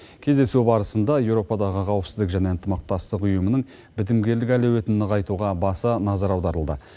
кездесу барысында еуропадағы қауіпсіздік және ынтымақтастық ұйымының бітімгерлік әлеуетін нығайтуға баса назар аударылды